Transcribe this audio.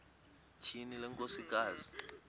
tyhini le nkosikazi